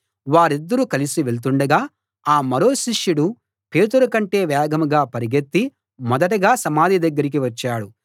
వారిద్దరూ కలసి వెళుతుండగా ఆ మరో శిష్యుడు పేతురు కంటే వేగంగా పరుగెత్తి మొదటగా సమాధి దగ్గరికి వచ్చాడు